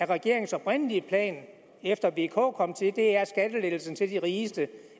regeringens oprindelige plan efter vk kom til er at skattelettelserne til de rigeste